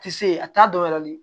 Ti se a t'a dɔ wɛrɛ le